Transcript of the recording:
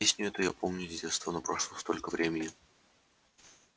песню эту я помню с детства но прошло столько времени